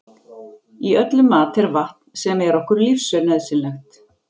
Í öllum mat er vatn sem er okkur lífsnauðsynlegt.